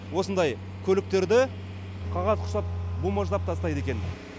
осындай көліктерді қағаз құсап бумаждап тастайды екен